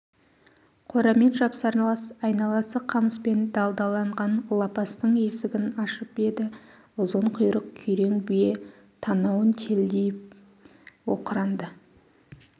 қорамен жапсарлас айналасы қамыспен далдаланған лапастың есігін ашып еді ұзын құйрық күрең бие танауын делдитіп оқыранды